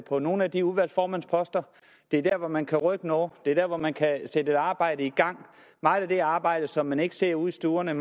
på nogle af de udvalgsformandsposter det er der hvor man kan rykke noget det er der hvor man kan sætte et arbejde i gang meget af det er arbejde som man ikke ser ude i stuerne